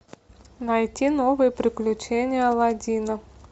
найти новые приключения аладдина